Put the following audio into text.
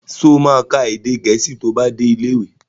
Sọ ma ka èdè Gẹ̀ẹ́sì tí ó bá dé ilé ìwé?